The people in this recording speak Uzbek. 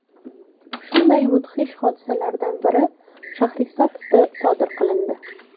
Shunday mudhish hodisalardan biri Shahrisabzda sodir qilindi.